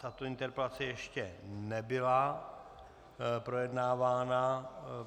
Tato interpelace ještě nebyla projednávána.